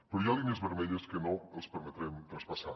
però hi ha línies vermelles que no els permetrem traspassar